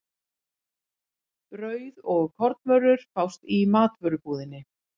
Brauð og kornvörur fást í matvörubúðinni.